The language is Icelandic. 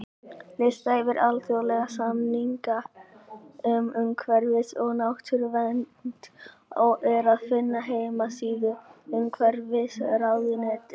Lista yfir alþjóðlega samninga um umhverfis- og náttúruvernd er að finna á heimasíðu Umhverfisráðuneytisins.